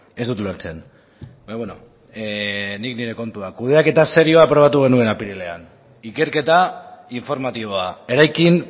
ez dut ulertzen baina bueno nik nire kontua kudeaketa serioa aprobatu genuen apirilean ikerketa informatiboa eraikin